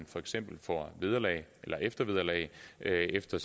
for eksempel får eftervederlag efter